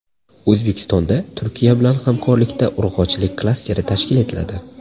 O‘zbekistonda Turkiya bilan hamkorlikda urug‘chilik klasteri tashkil etiladi.